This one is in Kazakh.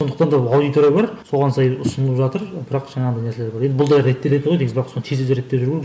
сондықтан да аудитория бар соған сай ұсынып жатыр бірақ жаңағыдай нәрселері бар енді бұл да реттеледі ғой негізі бірақ соны тез тез реттеп жіберу керек